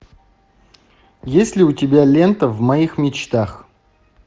есть ли у тебя лента в моих мечтах